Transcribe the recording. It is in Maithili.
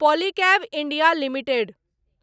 Polycab India limited